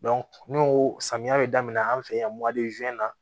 n'o samiya bɛ daminɛ an fɛ yan